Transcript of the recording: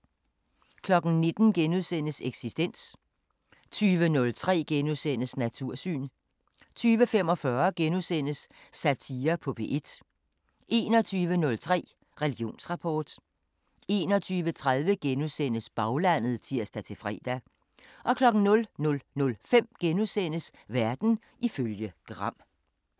19:00: Eksistens * 20:03: Natursyn * 20:45: Satire på P1 * 21:03: Religionsrapport 21:30: Baglandet *(tir-fre) 00:05: Verden ifølge Gram *